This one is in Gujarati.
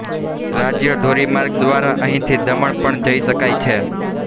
રાજ્ય ધોરી માર્ગ દ્વારા અહીંથી દમણ પણ જઇ શકાય છે